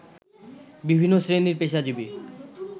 বিভিন্ন শ্রেণীর পেশাজীবী